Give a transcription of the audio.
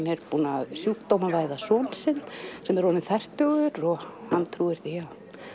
er búin að sjúkdómavæða son sinn sem er orðinn fertugur og trúir því að